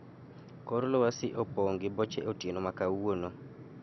kor lwasi opong' gi boche otieno ma kawuono